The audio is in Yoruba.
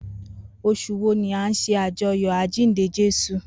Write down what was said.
Osùn wo ni a n se ajoyọ ajinde Jesu?